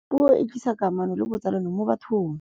puo e tlisa kamano le botsalano mo bathong